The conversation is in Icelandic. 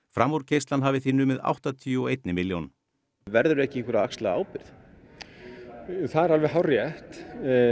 framúrkeyrslan hafi því numið áttatíu og einni milljón verður ekki einhver að axla ábyrgð það er alveg hárrétt